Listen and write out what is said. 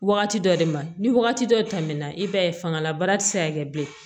Wagati dɔ de ma ni wagati dɔ tɛmɛna i b'a ye fangala baara ti se ka kɛ bilen